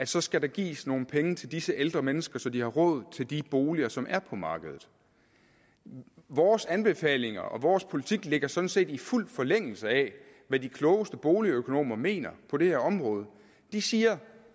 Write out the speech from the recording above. så skal gives nogle penge til disse ældre mennesker så de har råd til de boliger som er på markedet vores anbefalinger og vores politik ligger sådan set i fuld forlængelse af hvad de klogeste boligøkonomer mener på det her område de siger